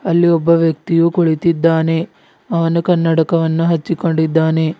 ಇಲ್ಲಿ ಒಬ್ಬ ವ್ಯಕ್ತಿಯು ಕುಳಿತಿದ್ದಾನೆ ಅವನು ಕನಡಕವನ್ನು ಅಚ್ಚಿಕೊಂಡಿದಾನೆ.